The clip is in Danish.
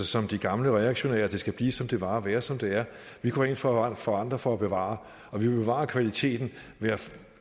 som de gamle og reaktionære at det skal blive som det var og være som det er vi går ind for at forandre for at bevare og vi bevarer kvaliteten